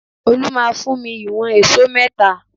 Olu máa fún mi ìwọ̀n èṣó mẹ́ta